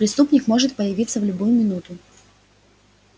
преступник может появиться в любую минуту